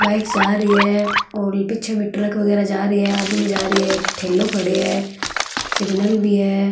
बाइक जा रही है और पीछे भी ट्रक वगेरा जा रहे है आदमी जा रही है एक ठेलो खड़यो है सिगनल भी है।